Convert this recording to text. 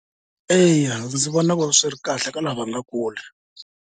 Eya ndzi vona swi ri kahle ka lava va nga Kule.